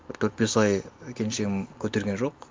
бір төрт бес ай келіншегім көтерген жоқ